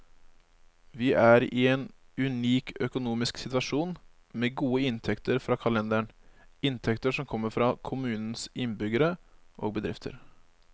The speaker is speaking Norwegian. Vi er i en unik økonomisk situasjon, med gode inntekter fra kalenderen, inntekter som kommer fra kommunens innbyggere og bedrifter.